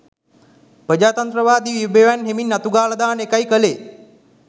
ප්‍රජාතන්ත්‍රවාදී විභවයන් හෙමින් අතුගාලා දාන එකයි කළේ